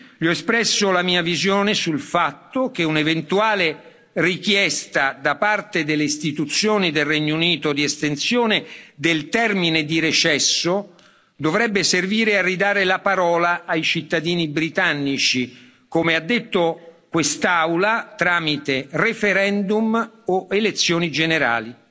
Gli ho espresso la mia visione sul fatto che un'eventuale richiesta da parte delle istituzioni del Regno Unito di estensione del termine di recesso dovrebbe servire a ridare la parola ai cittadini britannici come ha detto quest'Aula tramite referendum o elezioni generali.